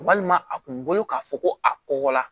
Walima a kun bolo k'a fɔ ko a kɔkɔ la